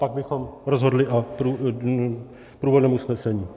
Pak bychom rozhodli o průvodném usnesení.